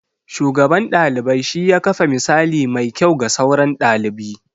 Shugaban ɗalibai shi ya kafa misali mai kyau ga sauran ɗalibi.